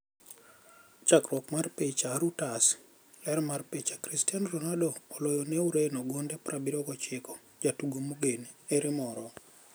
Chakruok mar picha, Reuters. Ler mar picha, Cristiano Ronaldo oloyo ne Ureno gonde 79.Jatugo mogen: Ere moro?